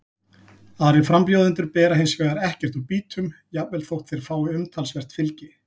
Aðrir frambjóðendur bera hins vegar ekkert úr býtum, jafnvel þótt þeir fái umtalsvert fylgi.